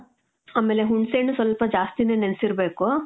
ಆಮೇಲೆ ಹುಣಸೆ ಹಣ್ಣು ಸ್ವಲ್ಪ ಜಾಸ್ತಿನೆ ನೆನ್ಸಿರ್ಬೇಕು.